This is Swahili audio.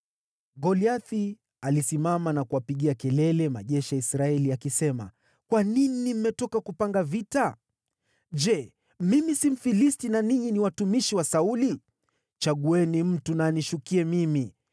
Goliathi alisimama na kuwapigia kelele majeshi ya Israeli, akisema, “Kwa nini mmetoka kupanga vita? Je, mimi si Mfilisti, na ninyi ni watumishi wa Sauli? Chagueni mtu na anishukie mimi.